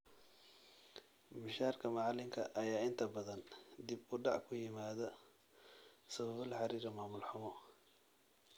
Mushaarka macalinka ayaa inta badan dib u dhac ku yimaada sababo la xirira mamul xumo.